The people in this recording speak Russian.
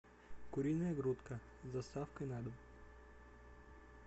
куриная грудка с доставкой на дом